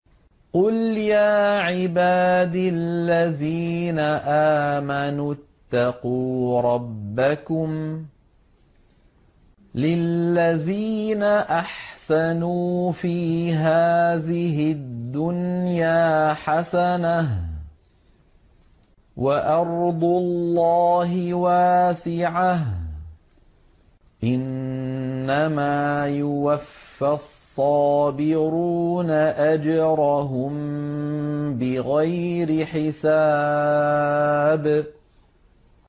قُلْ يَا عِبَادِ الَّذِينَ آمَنُوا اتَّقُوا رَبَّكُمْ ۚ لِلَّذِينَ أَحْسَنُوا فِي هَٰذِهِ الدُّنْيَا حَسَنَةٌ ۗ وَأَرْضُ اللَّهِ وَاسِعَةٌ ۗ إِنَّمَا يُوَفَّى الصَّابِرُونَ أَجْرَهُم بِغَيْرِ حِسَابٍ